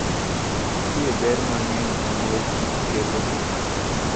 Nitie ber mang'eny ma mor kich kelo ne ng'ato.